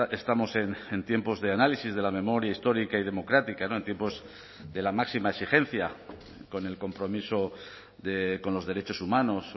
estamos en tiempos de análisis de la memoria histórica y democrática en tiempos de la máxima exigencia con el compromiso con los derechos humanos